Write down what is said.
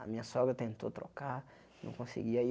A minha sogra tentou trocar, não conseguia.